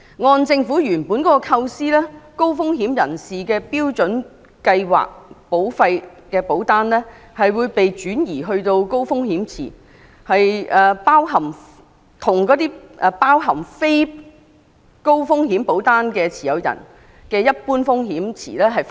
按照政府原本的構思，高風險人士的標準計劃保單會被轉移到高風險池，與包含非高風險保單持有人的一般風險池分開。